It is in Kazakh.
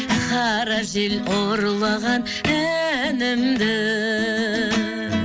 қара жел ұрлаған әнімді